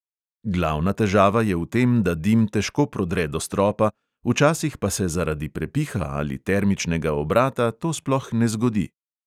Glavna težava je v tem, da dim težko prodre do stropa, včasih pa se zaradi prepiha ali termičnega obrata to sploh ne zgodi.